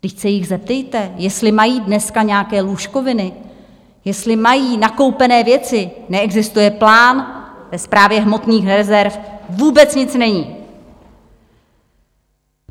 Vždyť se jich zeptejte, jestli mají dneska nějaké lůžkoviny, jestli mají nakoupené věci - neexistuje plán, ve Správě hmotných rezerv vůbec nic není.